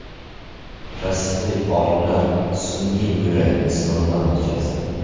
Rossiyalik olimlar sun’iy buyrakni sinovdan o‘tkazdi.